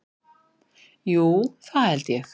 Jú, það held ég